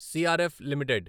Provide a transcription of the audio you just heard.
CRF limited